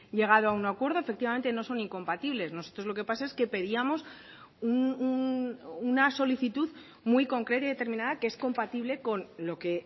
llegado a un acuerdo efectivamente no son incompatibles nosotros lo que pasa es que pedíamos una solicitud muy concreta y determinada que es compatible con lo que